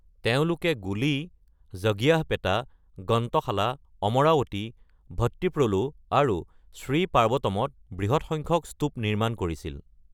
তেওঁলোকে গোলী, জগ্গিয়াহপেটা, গন্তশালা, অমৰাৱতী ভট্টীপ্ৰলু আৰু শ্ৰী পাৰ্বতমত বৃহৎ সংখ্যক স্তুপ নিৰ্মাণ কৰিছিল।